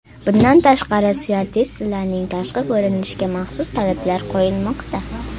Bundan tashqari, styuardessalarning tashqi ko‘rinishiga maxsus talablar qo‘yilmoqda.